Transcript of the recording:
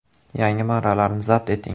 Yangi marralarni zabt eting.